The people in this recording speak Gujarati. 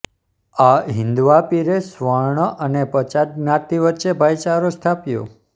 આ હિન્દવાપીરે સવર્ણ અને પછાત જ્ઞાતિ વચ્ચે ભાઈચારો સ્થાપ્યો